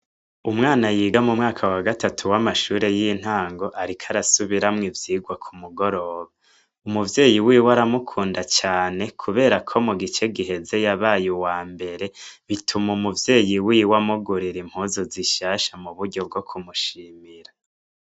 Umwana yiga mu mwaka wa gatatu w'amashure y'intango, ariko arasubiramwo ivyigwa ku mugoroba umuvyeyi wiwe aramukunda cane, kubera ko mu gice giheze yabaye uwa mbere bituma umuvyeyi wiwe amugurira impozu zishasha mu buryo bwo kumushimira.